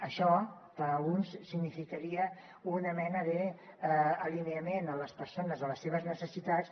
això per alguns significaria una mena d’alineament de les persones amb les seves necessitats